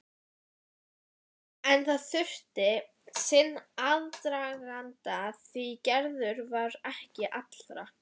En það þurfti sinn aðdraganda því Gerður var ekki allra.